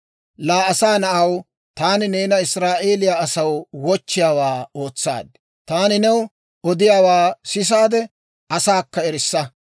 «Laa asaa na'aw, taani neena Israa'eeliyaa asaw wochchiyaawaa ootsaad; taani new odiyaawaa sisaade asaakka erissa.